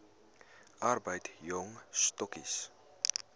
arbeid jong stokkies